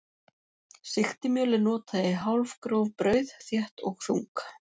Sigtimjöl er notað í hálfgróf brauð, þétt og þung.